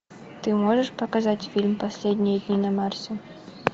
ты можешь показать фильм последние дни на марсе